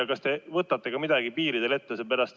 Ja kas te võtate midagi piiridel ette?